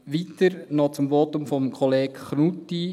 Weiter noch zum Votum von Kollege Knutti: